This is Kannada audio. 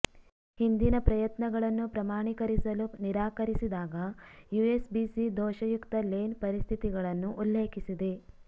ಹಿಂದಿನ ಪ್ರಯತ್ನಗಳನ್ನು ಪ್ರಮಾಣೀಕರಿಸಲು ನಿರಾಕರಿಸಿದಾಗ ಯುಎಸ್ಬಿಸಿ ದೋಷಯುಕ್ತ ಲೇನ್ ಪರಿಸ್ಥಿತಿಗಳನ್ನು ಉಲ್ಲೇಖಿಸಿದೆ